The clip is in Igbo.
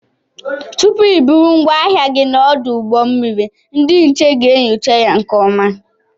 Tụpụ I bụrụ ngwaahịa gị n'odu ụgbọ mmiri ndị nche ga-enyocha ya nke ọma.